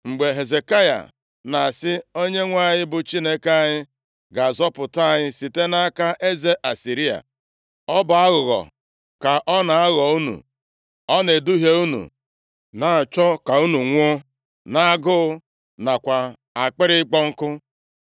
Mgbe Hezekaya na-asị, ‘ Onyenwe anyị bụ Chineke anyị ga-azọpụta anyị site nʼaka eze Asịrịa,’ ọ bụ aghụghọ ka ọ na-aghọ unu. Ọ na-eduhie unu, na-achọ ka unu nwụọ nʼagụụ nakwa akpịrị ịkpọ nkụ.